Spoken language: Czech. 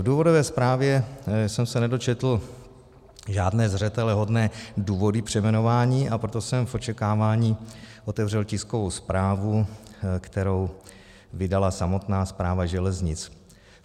V důvodové zprávě jsem se nedočetl žádné zřetelehodné důvody přejmenování, a proto jsem v očekávání otevřel tiskovou zprávu, kterou vydala samotná Správa železnic.